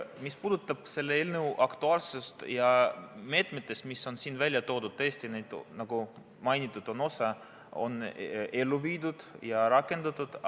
Mis puudutab selle eelnõu aktuaalsust, siis meetmetest, mis on siin välja toodud, on, nagu mainitud, osa ellu viidud ja rakendatud.